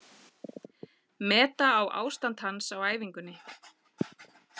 Meta á ástand hans á æfingunni.